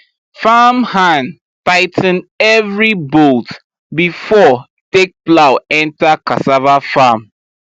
farmhand tigh ten every bolt before take plow enter cassava farm